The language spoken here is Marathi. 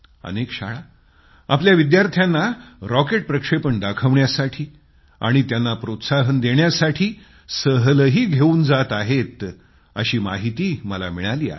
अनेक शाळा आपल्या विद्यार्थ्यांना रॉकेट लॉचिंग दाखवण्यासाठी आणि त्यांना प्रोत्साहन देण्यासाठी सहलही घेवून जात आहेत अशी माहिती मला दिली आहे